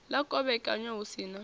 ḽa kovhekanywa hu si na